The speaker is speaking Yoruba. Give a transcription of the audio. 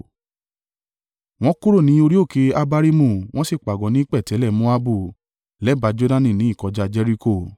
Wọ́n kúrò ní orí òkè Abarimu wọ́n sì pàgọ́ ní pẹ̀tẹ́lẹ̀ Moabu lẹ́bàá Jordani ní ìkọjá Jeriko.